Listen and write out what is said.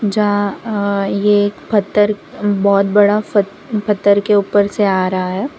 जहां ये एक पत्थर बहोत बड़ा प पत्थर के ऊपर से आ रहा है।